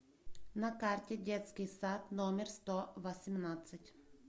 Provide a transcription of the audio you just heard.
на карте детский сад номер сто восемнадцать